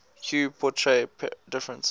hue portray different